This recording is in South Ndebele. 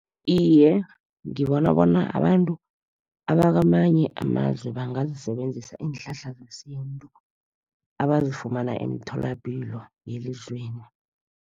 Iye, ngibona bona abantu abakwamanye amazwe, bangazisebenzisa iinhlahla zesintu abazifumana emitholapilo yelizweli.